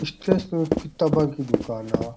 किताबा की दुकाना है आ।